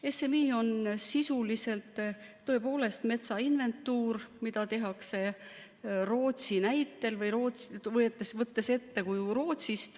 SMI on sisuliselt tõepoolest metsa inventuur, mida tehakse Rootsi näitel või Rootsist eeskuju võttes.